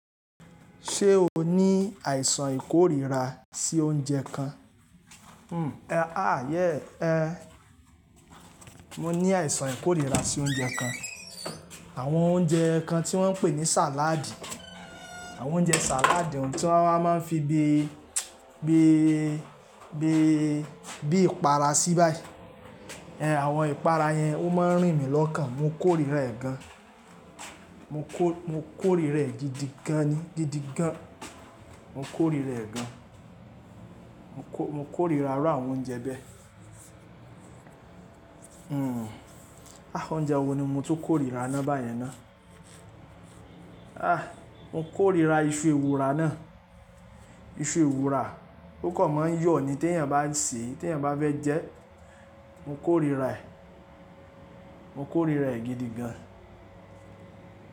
Ṣé o ní àìsàn ìkórìíra sí oúnjẹ kan? Hmm, a yéè ẹ. Mo ní àìsàn ìkórìíra sí oúnjẹ kan. Àwọn oúnjẹ kan tí wọ́n ń pè ní sàládì. Àwọn oúnjẹ sàládì ohun tí wọ́n máa ń fi bi, bi, bi, bi ìpara sí báyìí. Ẹ̀, àwọn ìpara yẹn ó máa ń rìn mí lọ́kàn. Mo kórìíra ẹ̀ gan. Mo kò, mo kórìíra ẹ̀ gidigan ni, gidigan. Mo kórìíra ẹ̀ gan. Mo kò, mo kórìíra iru àwọn oúnjẹ bẹ́ẹ. Hmm, ah oúnjẹ wo ni mo tó kórìíra ná bá yẹn ná. Ah mo kórìíra iṣu ewùra náà. Iṣu ewùra. Ó kàn máa ń yọ̀ ni tí èèyàn bá ń sè é, tí èèyàn bá fẹ́ jẹ ẹ́. Mo kórìíra ẹ̀. Mo kórìíra ẹ̀ gidigan.